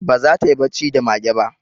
Ba za ta yi bacci da mage ba